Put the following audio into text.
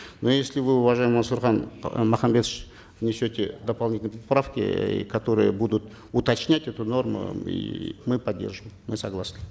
но если вы уважаемый мансурхан махамбетович внесете дополнительные поправки э которые будут уточнять эту норму и мы поддержим мы согласны